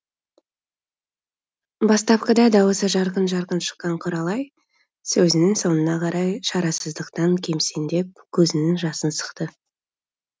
бастапқыда дауысы жарқын жарқын шыққан құралай сөзінің соңына қарай шарасыздықтан кемсеңдеп көзінің жасын сықты